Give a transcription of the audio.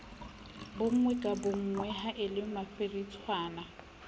bonngwe ka bonngwe haele mafiritshwana